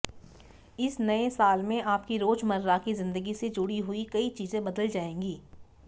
इस नए साल में आपकी रोजमर्रा की जिंदगी से जुड़ी हुई कई चीजें बदल जाएंगी